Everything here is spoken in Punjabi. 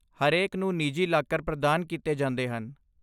ਹਰੇਕ ਨੂੰ ਨਿੱਜੀ ਲਾਕਰ ਪ੍ਰਦਾਨ ਕੀਤੇ ਜਾਂਦੇ ਹਨ।